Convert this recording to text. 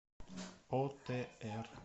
отр